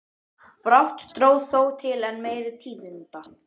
Brátt dró þó til enn meiri tíðinda.